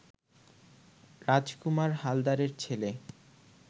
রাজকুমার হালদারের ছেলে